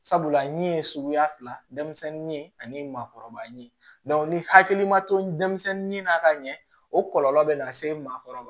Sabula ni ye suguya fila denmisɛnnin ye ani maakɔrɔba ye ni hakili ma to denmisɛnnin na ka ɲɛ o kɔlɔlɔ bɛ na se maakɔrɔ ma